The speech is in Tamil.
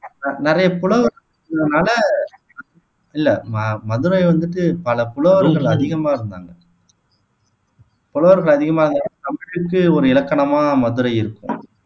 நி நிறைய புலவர்கள் இருந்ததால இல்ல மதுரை வந்துட்டு பல புலவர்கள் அதிகமா இருந்தாங்க புலவர்கள் அதிகமா இருந்ததால் தமிழுக்கு ஒரு இலக்கணமா மதுரை இருக்கு